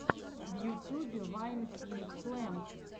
в ютюбе вайн пинкфлэм